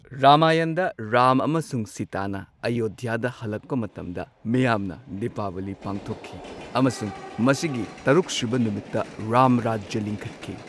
ꯔꯥꯃꯥꯌꯟꯗ ꯔꯥꯝ ꯑꯃꯁꯨꯡ ꯁꯤꯇꯥꯅ ꯑꯌꯣꯙ꯭ꯌꯥꯗ ꯍꯜꯂꯛꯄ ꯃꯇꯝꯗ ꯃꯤꯌꯥꯝꯅ ꯗꯤꯄꯥꯋꯂꯤ ꯄꯥꯡꯊꯣꯛꯈꯤ, ꯑꯃꯁꯨꯡ ꯃꯁꯤꯒꯤ ꯇꯔꯨꯛꯁꯨꯕ ꯅꯨꯃꯤꯠꯇ ꯔꯥꯝꯔꯥꯖ꯭ꯌ ꯂꯤꯡꯈꯠꯈꯤ꯫